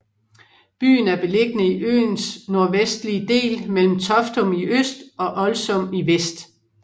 Byen er beliggende i øens nordvestlige del mellem Toftum i øst og Oldsum i vest